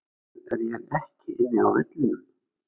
Af hverju er ég ekki inni á vellinum?